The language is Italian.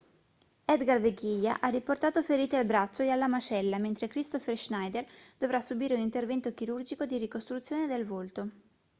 edgar veguilla ha riportato ferite al braccio e alla mascella mentre kristoffer schneider dovrà subire un intervento chirurgico di ricostruzione del volto